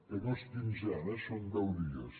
que no és quinzena eh són deu dies